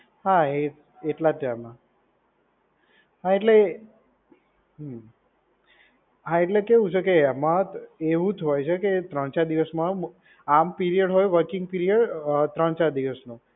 હા એ એટલા ચારમાં. હા એટલે, હા એટલે કેવું છે કે એમાં એવું જ હોય છે કે ત્રણ ચાર દિવસમાં આમ પીરીયડ હોય વર્કિંગ પીરીયડ અ ત્રણ ચાર દિવસનો.